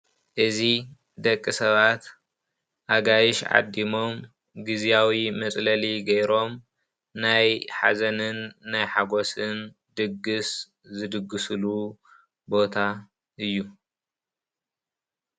እዚ ደቂ ሰባት ኣጋይሽ ዓዲሞም ግዝያዊ መፅለሊ ገይሮም ናይ ሓዘንን ናይ ሓጎስን ድግሰ ዝድግስሉ ቦታ እዩ።